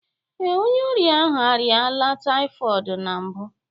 Ee, onye ọrịa ahụ arịala typhoid na mbụ